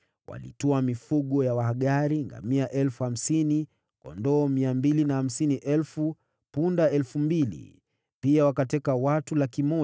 Walitwaa mifugo ya Wahagari: ngamia 50,000, kondoo 250,000, punda 2,000. Pia wakateka watu 100,000,